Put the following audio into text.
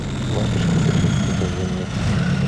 лапочка три покажи мне